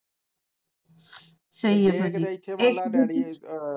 ਸਹੀ ਸਹੀ